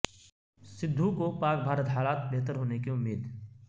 سدھو کو پاک بھارت حالات بہتر ہونے کی امید